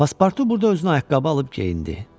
Paspartu burada özünə ayaqqabı alıb geyindi.